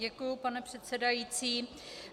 Děkuji, pane předsedající.